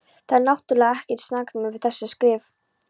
Það er náttúrlega ekkert saknæmt við þessi skrif.